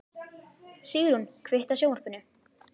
Sigrún, kveiktu á sjónvarpinu.